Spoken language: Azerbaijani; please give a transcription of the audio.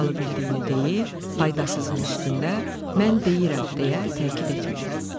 Faydalı bildiyini deyib, faydasızın üstündə, mən deyirəm, deyə təkid etməyib.